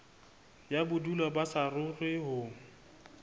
ya bodulo ba saruri ho